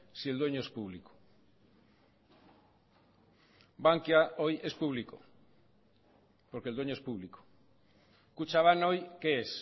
si el dueño es público bankia hoy es público porque el dueño es público kutxabank hoy qué es